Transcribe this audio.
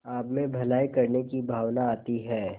आपमें भलाई करने की भावना आती है